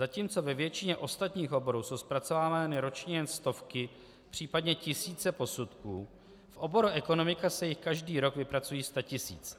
Zatímco ve většině ostatních oborů jsou zpracovávány ročně jen stovky, případně tisíce posudků, v oboru ekonomika se jich každý rok vypracují statisíce.